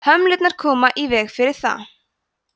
hömlurnar koma í veg fyrir það